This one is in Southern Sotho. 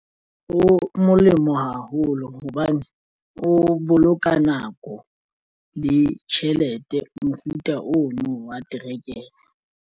O molemo haholo hobane o boloka nako le tjhelete mofuta ono wa terekere.